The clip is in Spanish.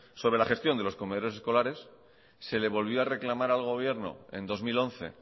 sobre la gestión de los comedores escolares se le volvió a reclamar al gobierno en dos mil once